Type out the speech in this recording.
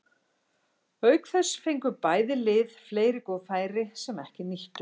Auk þess fengu bæði lið fleiri góð færi sem ekki nýttust.